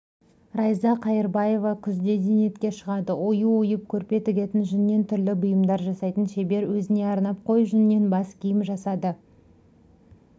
райза қайырбаева күзде зейнетке шығады ою ойып көрпе тігетін жүннен түрлі бұйымдар жасайтын шебер өзіне арнап қой жүнінен бас киім жасады